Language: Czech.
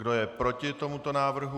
Kdo je proti tomuto návrhu?